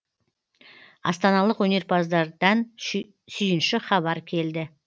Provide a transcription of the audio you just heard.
астаналық өнерпаздардан сүйінші хабар келді